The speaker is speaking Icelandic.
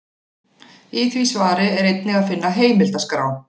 Í því svari er einnig að finna heimildaskrá.